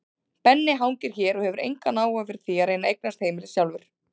Benni hangir hér og hefur engan áhuga fyrir því að reyna að eignast heimili sjálfur.